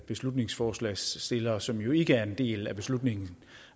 beslutningsforslagsstillere som jo ikke er en del af beslutningen